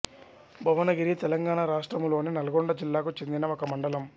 భువనగిరి తెలంగాణ రాష్ట్రములోని నల్గొండ జిల్లాకు చెందిన ఒక మండలం